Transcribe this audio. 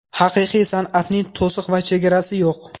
Haqiqiy san’atning to‘siq va chegarasi yo‘q.